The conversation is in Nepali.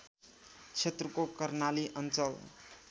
क्षेत्रको कर्णाली अञ्चल